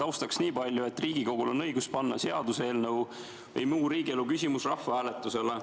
Taustaks niipalju, et Riigikogul on õigus panna seaduseelnõu või muu riigielu küsimus rahvahääletusele.